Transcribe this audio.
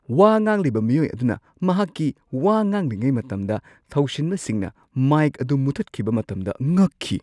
ꯋꯥ ꯉꯥꯡꯂꯤꯕ ꯃꯤꯑꯣꯏ ꯑꯗꯨꯅ ꯃꯍꯥꯛꯀꯤ ꯋꯥ ꯉꯥꯡꯂꯤꯉꯩ ꯃꯇꯝꯗ ꯊꯧꯁꯤꯟꯕꯁꯤꯡꯅ ꯃꯥꯏꯛ ꯑꯗꯨ ꯃꯨꯊꯠꯈꯤꯕ ꯃꯇꯝꯗ ꯉꯛꯈꯤ꯫